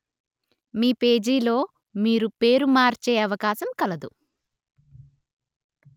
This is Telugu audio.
మీ పేజీలో మీరు పేరు మార్చే అవకాశము కలదు